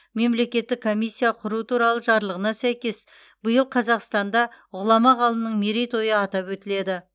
мемлекеттік комиссия құру туралы жарлығына сәйкес биыл қазақстанда ғұлама ғалымның мерейтойы атап өтіледі